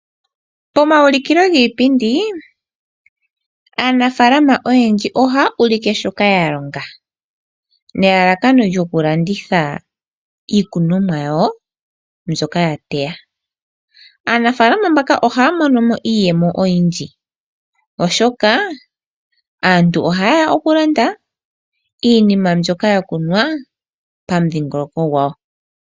Pomaulikilo giipindi aanafaalama oyendji ohaya ulike shoka ya longa nelalakano lyoku landitha iikunomwa yawo mbyoka ya teya. Aanafaalama mbaka ohaya monomo iiyemo oyindji, oshoka aantu ohayeya oku landa iinima mbyoka ya kunwa pamudhingoloko gwawo.